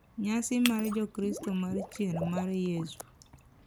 Nyasi mar Jokristo mar Chier mar Yesu.